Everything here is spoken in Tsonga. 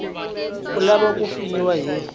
u lava ku pfuniwa hi